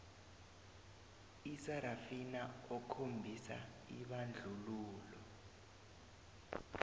isarafina okhombisa ibandlululo